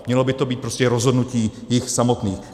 Mělo by to být prostě rozhodnutí jich samotných.